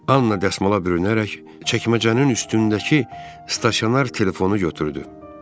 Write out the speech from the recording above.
Anna dəsmala bürünərək çəkməcənin üstündəki stasionar telefonu götürdü.